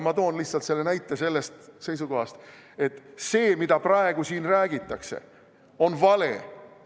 Ma toon selle näite lihtsalt sellest seisukohast, et see, mida praegu siin räägitakse, on vale.